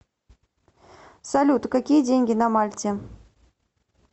салют какие деньги на мальте